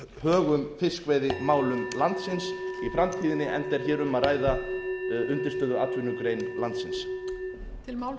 högum fiskveiðimálum landsins í framtíðinni enda er hér um að ræða undirstöðuatvinnugrein landsins